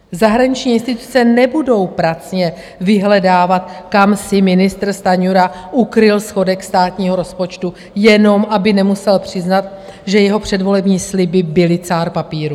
Zahraniční instituce nebudou pracně vyhledávat, kam si ministr Stanjura ukryl schodek státního rozpočtu, jenom aby nemusel přiznat, že jeho předvolební sliby byly cár papíru.